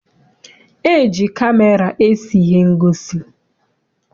E ji kamera ese ihe ngosi.